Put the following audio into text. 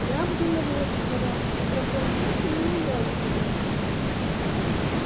я обдумывал этот вариант но проблема в том что мне не нравятся женщины